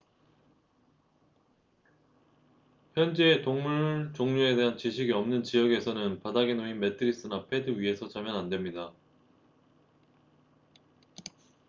현지의 동물 종류에 대한 지식이 없는 지역에서는 바닥에 놓인 매트리스나 패드 위에서 자면 안 됩니다